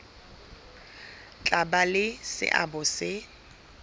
tla ba le seabo se